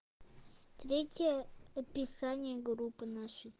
третье описание группы нашей